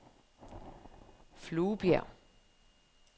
Fluebjerg